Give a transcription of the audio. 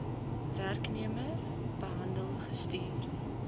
werknemer behandel gestuur